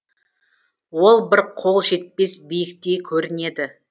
ол бір қол жетпес биіктей көрінеді